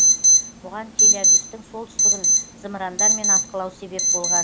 бұған тель авивтің солтүстігін зымырандармен атқылау себеп болған